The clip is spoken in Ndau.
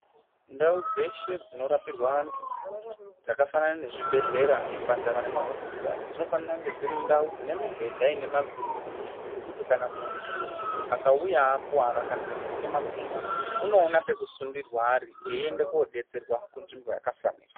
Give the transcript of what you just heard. Ndau dzeshe dzinorapirwa anthu dzakafanana nezvibhedhlera zvipatara nemahosipitari dzinofanira kunge dziri ndau dzine mibhedha ine mavhiri zvekuti kana munthu akauya akuwara kana kuguka makumbo unoona pekusundirwa ari eienda kodstserwa kunzvimbo yakafanira.